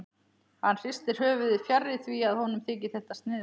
Hann hristir höfuðið, fjarri því að honum þyki þetta sniðugt.